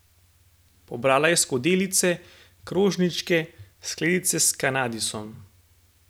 Pobrala je skodelice, krožničke, skledice s kandisom.